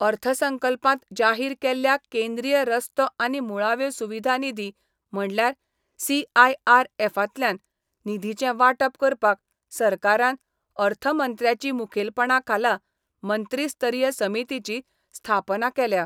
अर्थसंकल्पांत जाहीर केल्ल्या केंद्रीय रस्तो आनी मुळाव्यो सुविधा निधी म्हणल्यार सीआयआरएफतल्यान निधीचें वांटप करपाक सरकारान अर्थमंत्र्याची मुखेलपणा खाला मंत्रीस्तरीय समितीची स्थापना केल्या.